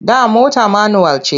Da mota manuwal ce.